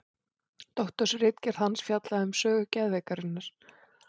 Doktorsritgerð hans fjallaði um sögu geðveikinnar.